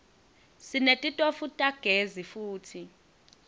sinetitofu tagezi futsi